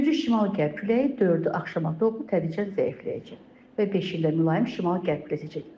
Güclü şimal-qərb küləyi dördü axşama doğru tədricən zəifləyəcək və beşində mülayim şimal-qərb küləyi əsəcək.